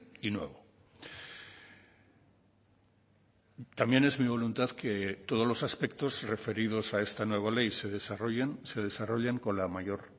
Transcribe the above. y nuevo también es mi voluntad que todos los aspectos referidos a esta nueva ley se desarrollen se desarrollen con la mayor